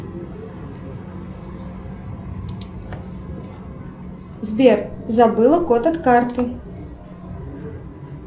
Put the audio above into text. сбер забыла код от карты